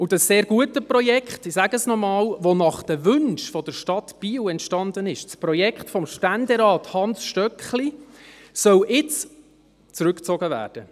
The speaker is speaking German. Das sehr gute Projekt – ich sage es nochmals –, das nach den Wünschen der Stadt Biel entstanden ist, das Projekt von Ständerat Hans Stöckli, soll jetzt zurückgezogen werden.